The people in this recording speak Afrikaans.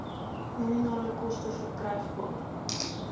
nominale koste verkrygbaar